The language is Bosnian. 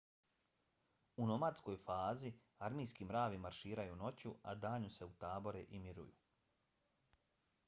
u nomadskoj fazi armijski mravi marširaju noću a danju se utabore i miruju